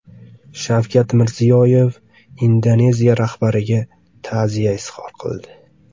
Shavkat Mirziyoyev Indoneziya rahbariga ta’ziya izhor qildi.